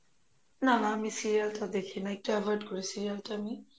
না না, আমি serial টা দেখি না এইটা avoid করি serial টা আমি